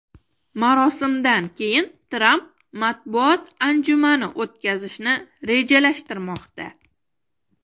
Marosimdan keyin Tramp matbuot anjumani o‘tkazishni rejalashtirmoqda.